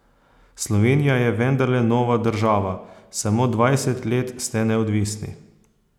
Slovenija je vendarle nova država, samo dvajset let ste neodvisni.